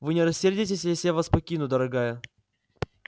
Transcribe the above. вы не рассердитесь если я вас покину дорогая